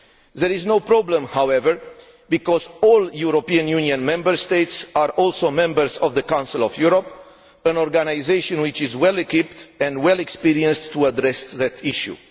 There is no problem, however, because all European Union Member States are also members of the Council of Europe, an organisation which is well equipped and well experienced to address that issue.